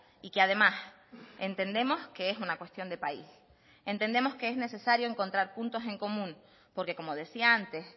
y que además entendemos que es una cuestión de país entendemos que es necesario encontrar puntos en común porque como decía antes